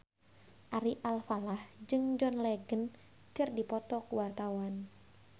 Ari Alfalah jeung John Legend keur dipoto ku wartawan